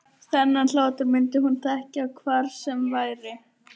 Þennan hlátur myndi hún þekkja hvar sem væri.